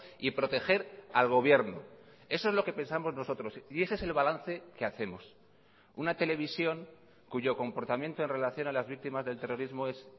y proteger al gobierno eso es lo que pensamos nosotros y ese es el balance que hacemos una televisión cuyo comportamiento en relación a las víctimas del terrorismo es